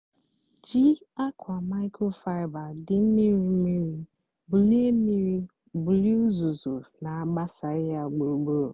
jí ákwa microfiber dị mmírí mmírí bulie mmírí bulie uzuzu nà-àgbasaghị yá gburugburu.